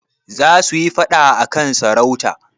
Za su yi faɗa a kan sarauta.